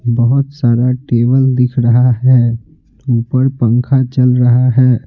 बहुत सारा टेबल दिख रहा है ऊपर पंखा चल रहा है।